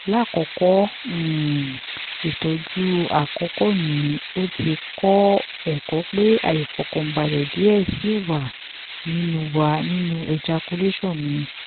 lakoko um itọju akọkọ mi o ti kọ ẹkọ pe aifọkanbalẹ diẹ sii wa ninu wa ninu ejaculation mi